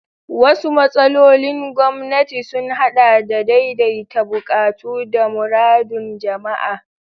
Wasu matsalolin gwamnati sun haɗa da daidaita buƙatu da muradun jama'a.